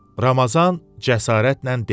Ramazan cəsarətlə dedi: